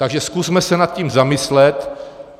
Takže zkusme se nad tím zamyslet.